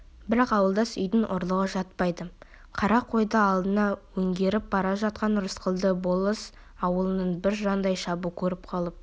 бірақ ауылдас үйдің ұрлығы жатпайды қара қойды алдына өңгеріп бара жатқан рысқұлды болыс ауылының бір жандайшабы көріп қалып